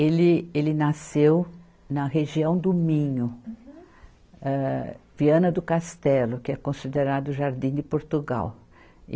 Ele, ele nasceu na região do Minho, Viana do Castelo, que é considerado o Jardim de Portugal.